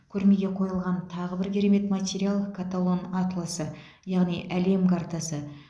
көрмеге қойылған тағы бір керемет материал каталон атласы яғни әлем картасы